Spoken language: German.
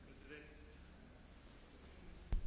Herr Präsident, Herr Kommissar, meine Damen und Herren!